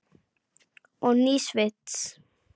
Og nýs vits.